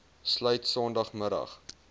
sluit sondag middag